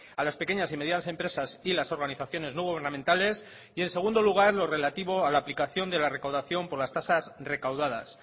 a las pequeñas y medianas empresas y las organizaciones no gubernamentales y en segundo lugar lo relativo a la aplicación de la recaudación por las tasas recaudadas